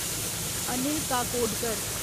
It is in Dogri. अनिल काकोडकर